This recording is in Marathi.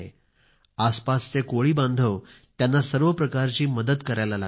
आसपासचे कोळी पण त्यांना सर्व प्रकारची मदत करायला लागले आहेत